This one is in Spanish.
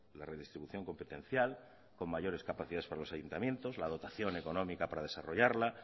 la redistribución competencial con mayores capacidades para los ayuntamientos la dotación económica para desarrollarla